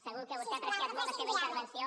segur que vostè ha apreciat molt la seva intervenció